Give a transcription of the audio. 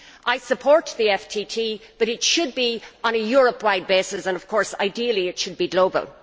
I support the FTT, but it should be on a Europe wide basis and ideally it should be global.